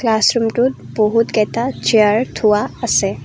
ক্লাছৰূমটোত বহুত কেইটা চিয়াৰ থোৱা আছে।